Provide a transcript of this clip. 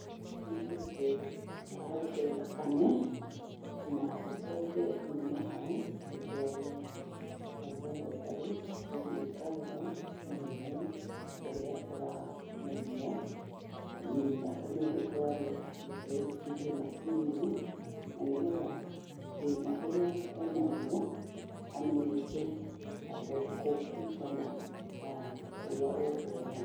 Nĩ kũrutwo ararutwo thakame na icoke yume hau ĩtwarwo laboratory , ĩthiĩ ĩkarorwo mũrimũ ũrĩa ũramũgia. Thakame ĩyo ĩtwarwo ĩkaingĩrio macini-inĩ na nĩgetha thĩna ũrĩa enaguo amenyeke nĩgetha athondekwo kũringana na ũrĩa ũkuonania.